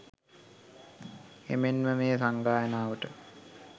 එමෙන්ම මේ සංගායනාවට